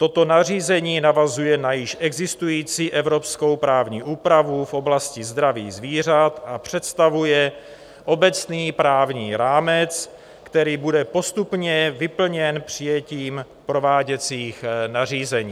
Toto nařízení navazuje na již existující evropskou právní úpravu v oblasti zdraví zvířat a představuje obecný právní rámec, který bude postupně vyplněn přijetím prováděcích nařízení.